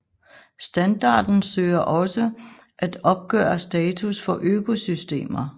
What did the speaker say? Standarden søger også at opgøre status for økosystemer